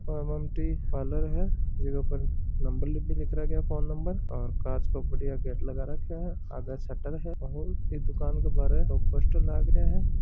पार्लर है जीके पर नंबर भी फोन नंबर ओर काच को बढ़िया गेट लगा रखा है आगे शटर है ओर एक दुकान के बाहर दो पोस्टर लाग रहा है।